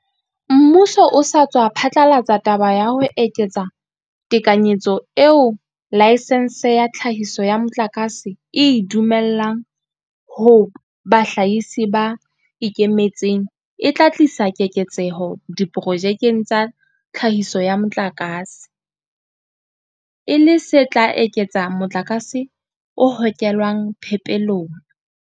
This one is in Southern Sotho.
Mmuso o sa tswa phatlalatsa taba ya ho eketsa tekanyetso eo laesense ya tlhahiso ya motlakase e e dumellang ho bahlahisi ba ikemetseng e tla tlisa keketseho diprojekeng tsa tlhahiso ya motlakase, e le se tla eketsa motlakase o hokelwang phepelong.